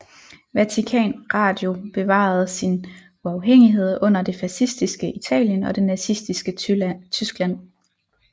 Vatikan Radio bevarede sin uafhængighed under det fascistiske Italien og det nazistiske Tyskland